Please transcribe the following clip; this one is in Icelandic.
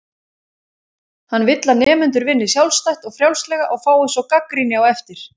Hann vill að nemendur vinni sjálfstætt og frjálslega og fái svo gagnrýni á eftir.